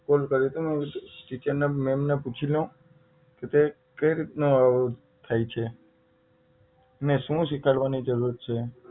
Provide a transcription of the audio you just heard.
phone કર્યો તો મેં એમ ટીચર ને મેમ ને પૂછી લવું કે તે કઈ રીતનો થાય છે એને શું શીખાડવાની જરૂર છે